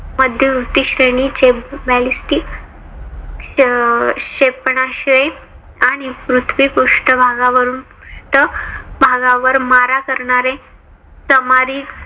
मध्यवर्ती श्रेणीचे ballistic क्षेपणास्त्रे आणि पृथ्वी पृष्ठभागावरून पृष्ठभागावर मारा करणारे सामरिक